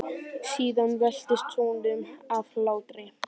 Síðan veltist hún um af hlátri.